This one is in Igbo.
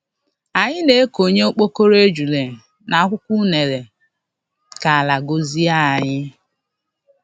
Anyị na-ekonye okpokoro ejula n'akwukwọ unere ka ala gọzie anyị.